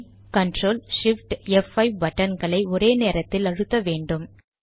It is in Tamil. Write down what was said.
பின்பு CTRL SHIFT ப்5 பட்டன்களை ஒரே நேரத்தில் அழுத்த வேண்டும்